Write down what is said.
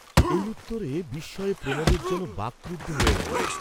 এই উত্তরে বিস্ময়ে প্রমোদের যেন বাকরুদ্ধ হইয়া গেল।